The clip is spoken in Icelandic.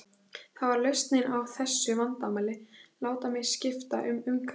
Það var lausnin á þessu vandamáli, láta mig skipta um umhverfi.